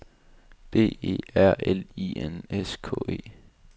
B E R L I N S K E